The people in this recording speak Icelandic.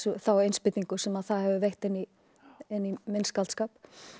þá innspýtingu sem það hefur veitt inn í minn skáldskap